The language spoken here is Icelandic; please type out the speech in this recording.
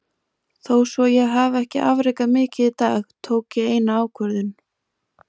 Þó svo ég hafi ekki afrekað mikið í dag, tók ég eina ákvörðun.